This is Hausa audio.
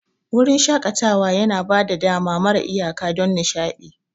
Wurin shaƙatawa yana ba da dama mara iyaka don nishaɗi.